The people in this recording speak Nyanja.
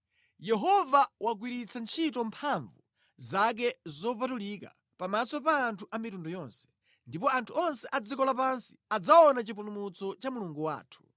Yehova wagwiritsa ntchito mphamvu zake zopatulika pamaso pa anthu a mitundu yonse, ndipo anthu onse a dziko lapansi adzaona chipulumutso cha Mulungu wathu.